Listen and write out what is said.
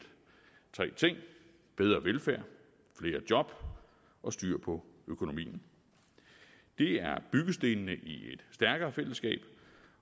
tre ting bedre velfærd flere job og styr på økonomien det er byggestenene i et stærkere fællesskab